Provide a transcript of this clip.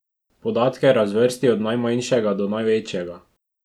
Podatke razvrsti od najmanjšega do največjega.